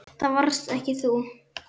Það varst ekki þú.